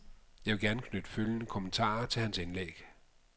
Jeg vil gerne knytte følgende kommentarer til hans indlæg.